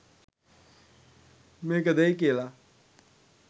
මේක දෙයි කියලා.